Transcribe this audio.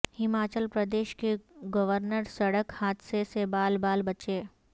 ہماچل پردیش کے گورنر سڑک حادثے سے بال بال بچے